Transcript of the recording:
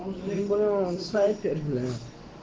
не поняла он скайпе блин